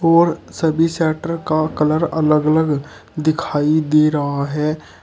और सभी शटर का कलर अलग अलग दिखाई दे रहा है।